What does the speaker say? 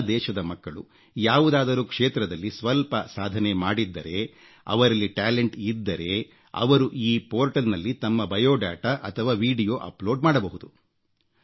ನಮ್ಮ ದೇಶದ ಮಕ್ಕಳು ಯಾವುದಾದರೂ ಕ್ಷೇತ್ರದಲ್ಲಿ ಸ್ವಲ್ಪ ಸಾಧನೆ ಮಾಡಿದ್ದರೆ ಅವರಲ್ಲಿ ಪ್ರತಿಭೆ ಇದ್ದರೆ ಅವರು ಈ ಪೋರ್ಟಲ್ನಲ್ಲಿ ತಮ್ಮ ಸ್ವಪರಿಚಯ ಅಥವಾ ವೀಡಿಯೋ ಅಪ್ಲೋಡ್ ಮಾಡಬಹುದು